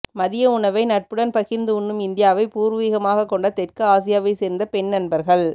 மதிய உணவை நட்புடன் பகிர்ந்து உண்ணும் இந்தியாவை பூர்வீகமாக கொண்ட தெற்கு ஆசியாவை சேர்ந்த பெண் நண்பர்கள்